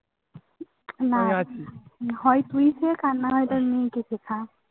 না হয় তুই দেখ আর না হয় তোর নুনটুকে খা